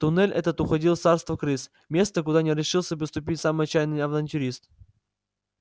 туннель этот уходил в царство крыс место куда не решился бы ступить самый отчаянный авантюрист